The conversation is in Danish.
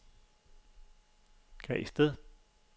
Græsted